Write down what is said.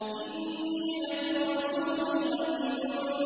إِنِّي لَكُمْ رَسُولٌ أَمِينٌ